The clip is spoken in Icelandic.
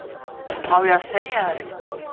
Á ég að segja þér eitt?